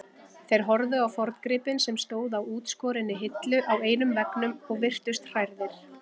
Þeir horfðu á forngripinn sem stóð á útskorinni hillu á einum veggnum og virtust hrærðir.